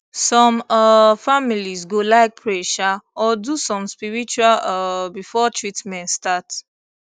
some um families go like pray um or do something spiritual um before treatment start